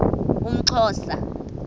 umxhosa